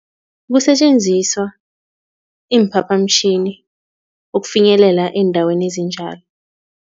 Kusetjenziswa iimphaphamtjhini ukufinyelela eendaweni ezinjalo.